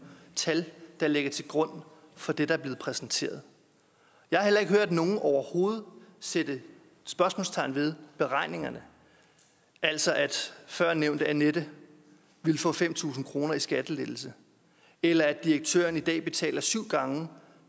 tal der ligger til grund for det der blev præsenteret jeg har heller ikke hørt nogen overhovedet sætte spørgsmålstegn ved beregningerne altså at førnævnte annette ville få fem tusind kroner i skattelettelse eller at direktøren i dag betaler syv gange